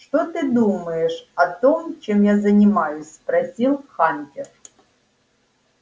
что ты думаешь о том чем я занимаюсь спросил хантер